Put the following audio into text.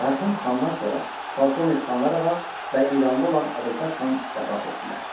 Mərhum xandan sonra Polkovnik Xanlar Ağa və İranda olan Əbülfət xan vəfat etdilər.